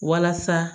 Walasa